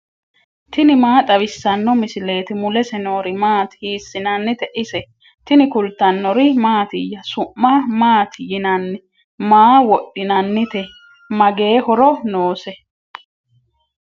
tini maa xawissanno misileeti ? mulese noori maati ? hiissinannite ise ? tini kultannori mattiya? Su'ma maatti yinnanni? maa wodhinanitte? magee horo noose?